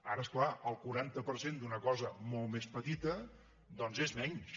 ara és clar el quaranta per cent d’una cosa molt més petita doncs és menys